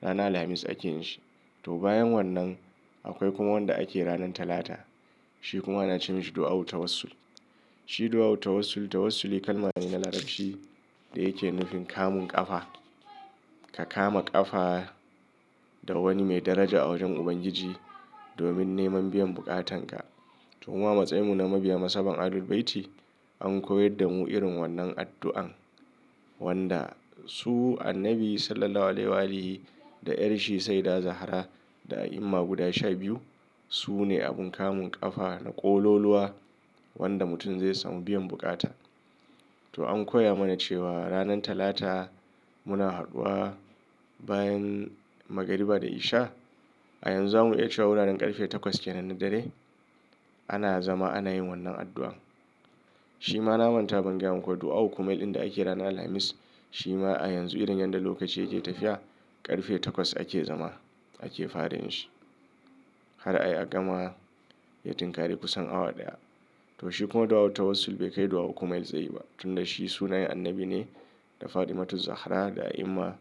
ranar Alhamis ake yin shi. To bayan wannan akwai kuma wanda ake ranan Talata. Shi kuma ana ce masa addu'ar tawassul. Shi addu'ar tawassul, tawassul kalma ne na Larabci da yake nufin kamun ƙafa. Ka kama ƙafa da wani mai daraja a wajen Ubangiji domin neman biyan buƙatanka. To muma matsayimu na mabiya mazhaban Ahlul Bayti an koyar da mu irin wannan addu'an wanda su annabi Sallallahu Alaihi Wa alihi da 'yar shi Saidah Zahra da ayima guda shabiyu su ne abin kamun ƙafa na ƙololuwa wanda mutum zai samu biyan bukata. To an koya mana cewa ranan Talata muna haɗuwa bayan magariba da isha. A yanzu zamuyi cewa wuraren ƙarfe takwas kenan na dare ana zama ana yin wannan addu'an. Shi ma na manta ban gaya muku addu'ar ukumail din da ake ranan Alhamis shi ma a yanzu irin yadda lokaci yake tafiya ƙarfe takwas ake zama ake fara yin shi har a yi a gama ya tinƙari kusan awa ɗaya. To shi kuma dua ul tawassul bai kai addu'ar ukumail tsayi ba tun da shi sunayen annabi ne da Fatimatu Zahra da ayima.